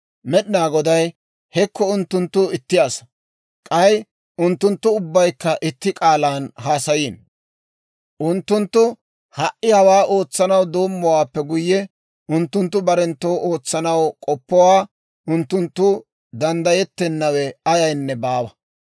Med'inaa Goday «Hekko unttunttu itti asaa; k'ay unttunttu ubbaykka itti k'aalan haasayiino; unttunttu ha"i hawaa ootsanaw doommowaappe guyye, unttunttu barenttoo ootsanaw k'oppowaa unttunttoo danddayettenawe ayaynne baawa.